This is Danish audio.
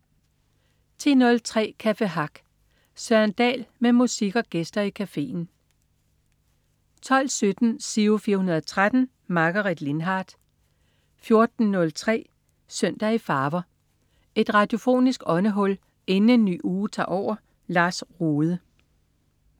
10.03 Café Hack. Søren Dahl med musik og gæster i cafeen 12.17 Giro 413. Margaret Lindhardt 14.03 Søndag i farver. Et radiofonisk åndehul inden en ny uge tager over. Lars Rohde